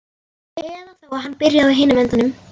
Eða þá hann byrjaði á hinum endanum.